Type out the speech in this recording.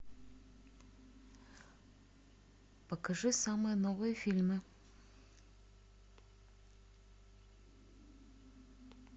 покажи самые новые фильмы